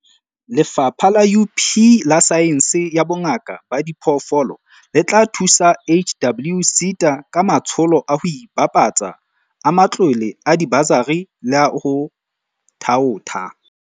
Lefapha la UP la Saense ya Bongaka ba Diphoofolo le tla thusa HWSETA ka matsholo a ho ibapatsa, a matlole a dibasari le a ho thaotha.